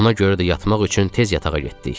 Ona görə də yatmaq üçün tez yatağa getdik.